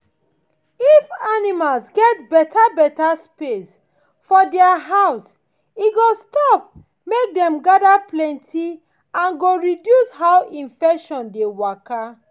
if animals get better better space for thier house e go stop make dem gather plenty and go reduce how infection dey waka